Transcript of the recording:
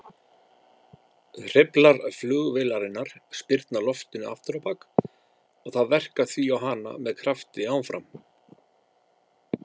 Hreyflar flugvélarinnar spyrna loftinu afturábak og það verkar því á hana með krafti áfram.